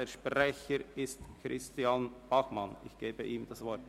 Ich erteile dem Sprecher, Christian Bachmann, das Wort.